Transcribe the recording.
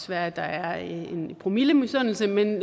være at der er en promille misundelse men